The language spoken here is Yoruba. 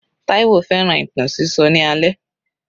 Taiwo fẹ́ràn ìtàn sísọ ní alẹ́.